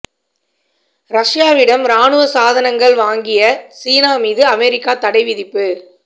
ரஷ்யாவிடம் ராணுவ சாதனங்கள் வாங்கிய சீனா மீது அமெரிக்கா தடை விதிப்பு